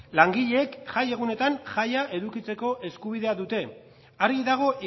langileek jai egunetan jaia edukitzeko eskubidea dute argi dago